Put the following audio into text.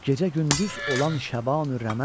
Gecə gündüz olan şəbanı rəmə.